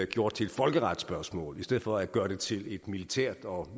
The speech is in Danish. gjort til et folkeretsspørgsmål i stedet for at gøre det til et militært og